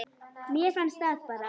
Mér fannst það bara.